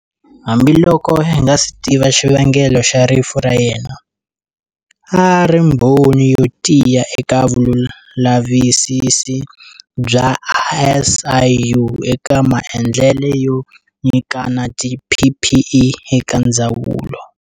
Hambiloko hi nga si tiva xivangelo xa rifu ra yena, a a ri mbhoni yo tiya eka vulavisisi bya SIU eka maendlelo yo nyikana tiPPE eka ndzawulo.